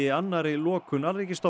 annarri lokun